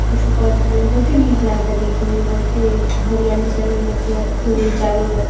कुछु कर ता लोग। बहुते निक लागता देखे में। बहुते हरियाली चारो ओर बाटे। आ फूल वूल चारो ओर बाटे |